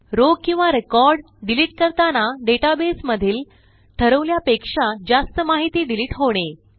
row किंवा record delete करताना database मधील ठरवल्यापेक्षा जास्त माहिती डिलिट होणे